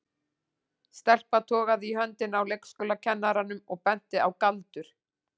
Stelpa togaði í höndina á leikskólakennaranum og benti á Galdur.